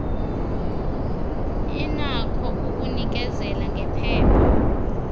inakho ukunikezela ngephepha